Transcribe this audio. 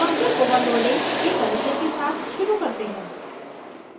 function overloading के परिचय के साथ शुरू करते हैं